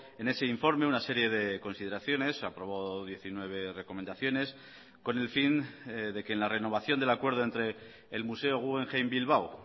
en ese informe una serie de consideraciones aprobó diecinueve recomendaciones con el fin de que en la renovación del acuerdo entre el museo guggenheim bilbao